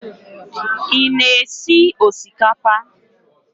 Ị-na esi osikapa?